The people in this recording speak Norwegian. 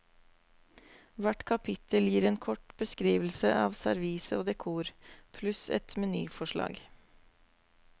Hvert kapittel gir en kort beskrivelse av servise og dekor, pluss et menyforslag.